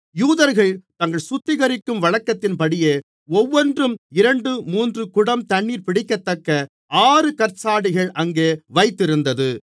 யூதர்கள் தங்களைச் சுத்திகரிக்கும் வழக்கத்தின்படியே ஒவ்வொன்றும் இரண்டு மூன்று குடம் தண்ணீர் பிடிக்கத்தக்க ஆறு கற்ஜாடிகள் அங்கே வைத்திருந்தது